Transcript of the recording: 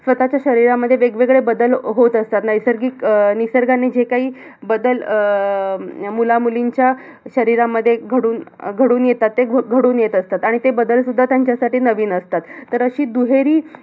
स्वतःच्या शरीरामध्ये वेग-वेगळे बदल अह होत असतात. नैसर्गिक अह निसर्गाने जे काही बदल अह अं मुला-मुलींच्या शरीरामध्ये घडून अह घडून येतात ते. अह घडून येत असतात. आणि ते बदल सुद्धा त्यांच्यासाठी नवीन असतात. तर अशी दुहेरी